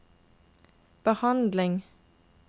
behandling